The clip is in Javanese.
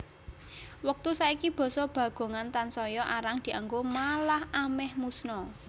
Wektu saiki basa Bagongan tansaya arang dianggo malah amèh musna